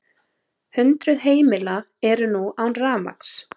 Hundruð heimila eru nú án rafmagns